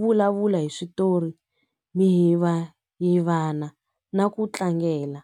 vulavula hi switori mihivahivana na ku tlangela.